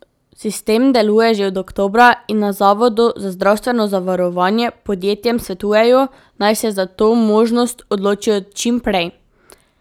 Sistem deluje že od oktobra in na zavodu za zdravstveno zavarovanje podjetjem svetujejo, naj se za to možnost odločijo čim prej.